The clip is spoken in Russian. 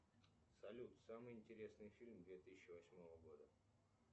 салют самый интересный фильм две тысячи восьмого года